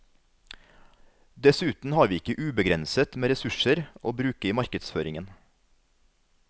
Dessuten har vi ikke ubegrenset med ressurser å bruke i markedsføringen.